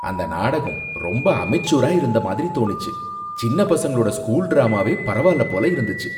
அந்த நாடகம் ரொம்ப அமெச்சூரா இருந்த மாதிரி தோணிச்சு. சின்ன பசங்களோட ஸ்கூல் டிராமாவே பரவால்ல போல இருந்துச்சு.